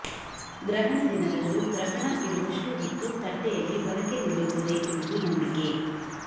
ಗ್ರಹಣ ದಿನದಂದು ಗ್ರಹಣ ಇರುವಷ್ಟೂ ಹೊತ್ತು ತಟ್ಟೆಯಲ್ಲಿ ಒನಕೆ ನಿಲ್ಲುತ್ತದೆ ಎಂಬುದು ನಂಬಿಕೆ